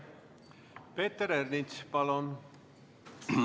Peeter Ernits, palun!